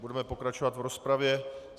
Budeme pokračovat v rozpravě.